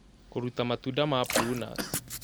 Kũruta matunda ma prunus